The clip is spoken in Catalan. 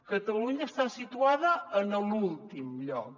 catalunya està situada en l’últim lloc